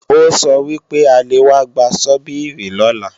Ó sọ wípé a lè wá gba Sọ́bíìrì lọ́la